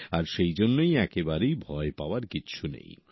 আর সেই জন্যেই একেবারেই ভয় পাওয়ার কিছু নেই